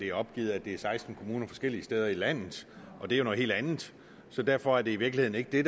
er opgivet at det er seksten kommuner forskellige steder i landet og det er jo noget helt andet så derfor er det i virkeligheden ikke det